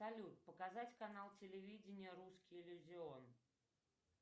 салют показать канал телевидения русский иллюзион